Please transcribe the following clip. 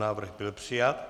Návrh byl přijat.